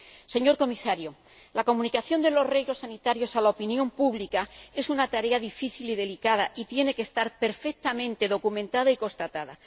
Señor Comisario, la comunicación de los riesgos sanitarios a la opinión pública es una tarea difícil y delicada, y tiene que estar perfectamente documentada y constatada.